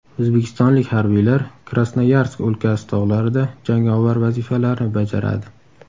O‘zbekistonlik harbiylar Krasnoyarsk o‘lkasi tog‘larida jangovar vazifalarni bajaradi.